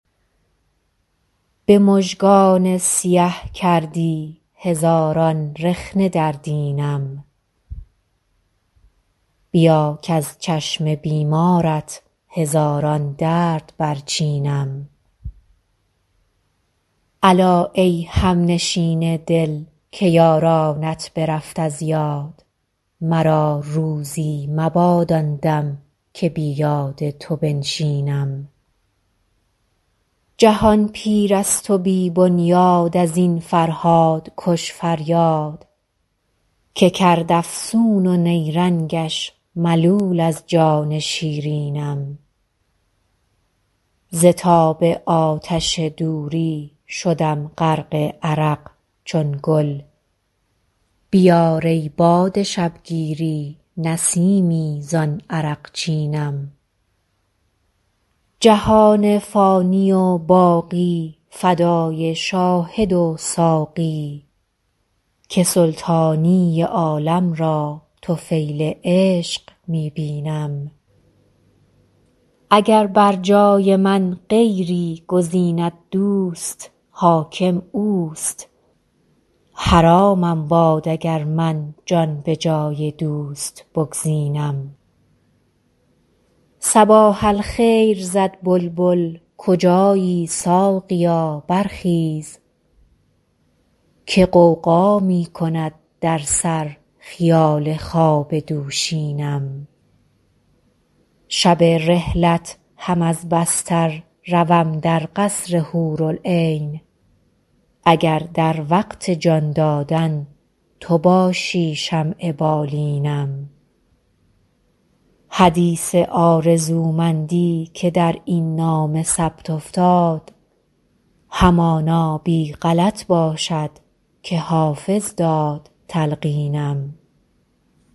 به مژگان سیه کردی هزاران رخنه در دینم بیا کز چشم بیمارت هزاران درد برچینم الا ای همنشین دل که یارانت برفت از یاد مرا روزی مباد آن دم که بی یاد تو بنشینم جهان پیر است و بی بنیاد از این فرهادکش فریاد که کرد افسون و نیرنگش ملول از جان شیرینم ز تاب آتش دوری شدم غرق عرق چون گل بیار ای باد شبگیری نسیمی زان عرقچینم جهان فانی و باقی فدای شاهد و ساقی که سلطانی عالم را طفیل عشق می بینم اگر بر جای من غیری گزیند دوست حاکم اوست حرامم باد اگر من جان به جای دوست بگزینم صباح الخیر زد بلبل کجایی ساقیا برخیز که غوغا می کند در سر خیال خواب دوشینم شب رحلت هم از بستر روم در قصر حورالعین اگر در وقت جان دادن تو باشی شمع بالینم حدیث آرزومندی که در این نامه ثبت افتاد همانا بی غلط باشد که حافظ داد تلقینم